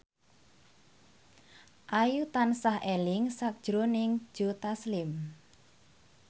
Ayu tansah eling sakjroning Joe Taslim